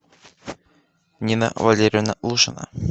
нина валерьевна лушина